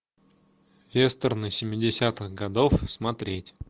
вестерны семидесятых годов смотреть